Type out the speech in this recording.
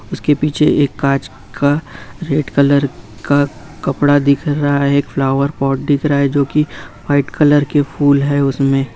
उसके पीछे एक कांच का रेड कलर का कपड़ा दिख रहा है एक फ्लावर पॉट दिख रहा है जो की व्हाइट कलर के फूल है उसमें।